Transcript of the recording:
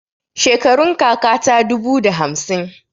Shekarun kaka ta dubu da hamsin.